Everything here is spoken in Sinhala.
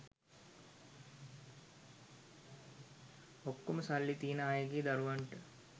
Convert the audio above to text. ඔක්කොම සල්ලි තියන අයගේ දරුවන්ට